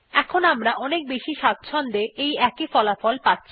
এখন আমরা অনেক বেশি স্বাচ্ছন্দ্য এর সঙ্গে একই ফলাফল পাচ্ছি